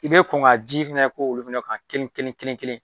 I bɛ kɔn ka ji fɛnɛ ko olu fana kan kelen kelen.